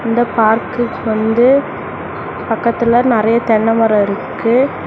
இந்த பார்க்குக்கு வந்து பக்கத்துல நெறயா தென்ன மரோ இருக்கு.